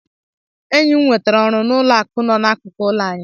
Enyi m nwetara ọrụ n'ụlọ akụ nọ n'akụkụ ụlọ anyị.